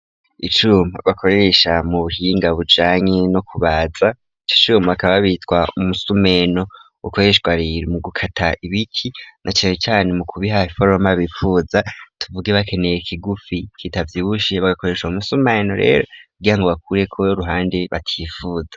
Icuma bakoresha mu buhinga bujanye no kubaza. Ico cuma bakaba bitwa umusumeno ukoreshwa rero mu gukata ibiti na cane cane mu kubiha iforoma bipfuza, tuvuge bakeneye kigufi kitavyibushe bagakoresha umusumeno rero kugira ngo bakureko uruhande batipfuza.